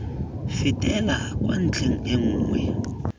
fetela kwa ntlheng e nngwe